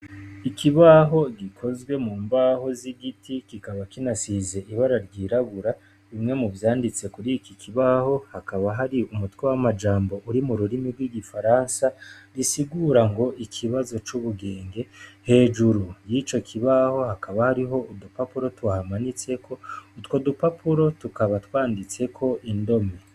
Ikibaho gikozwe mu mbaho z'igiti, kikaba kinasize ibara ry'irabura, bimwe muvyanditse kuri iki kibaho hakaba hari umutwe w'amajambo uri mururimi rw'igifaransa bisigura ngo:<< Ikibazo c'ubugenge.>>, hejuru y'ico kibaho hakaba hariho urupapuro tuhamanitseko, utwo dupapuro tukaba twanditseko indome.